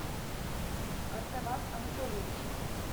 артаваз анатольевич